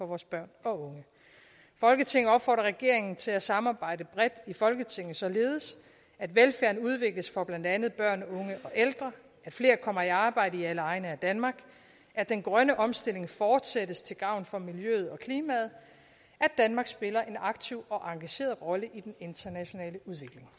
vores børn og unge folketinget opfordrer regeringen til at samarbejde bredt i folketinget således at velfærden udvikles for blandt andet børn unge og ældre at flere kommer i arbejde i alle egne af danmark at den grønne omstilling fortsættes til gavn for miljøet og klimaet at danmark spiller en aktiv og engageret rolle i den internationale udvikling